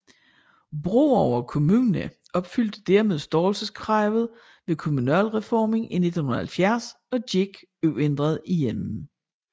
Broager Kommune opfyldte dermed størrelseskravet ved kommunalreformen i 1970 og gik uændret igennem